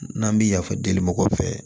N'an bi yafa deli mɔgɔw fɛ